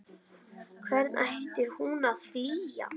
Hvern ætti hún að flýja?